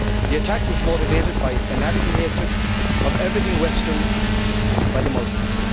The attack was motivated by a fanatical hatred of everything western by the Muslims.